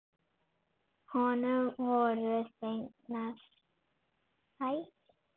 Honum voru fengnar þær.